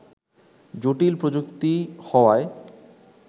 জটিল প্রযুক্তি হওয়ায়